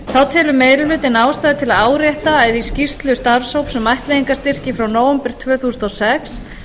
þá telur meiri hlutinn ástæðu til að árétta að í skýrslu starfshóps um ættleiðingarstyrki frá nóvember tvö þúsund og sex